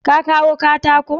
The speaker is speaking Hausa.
Ka kawo katakon?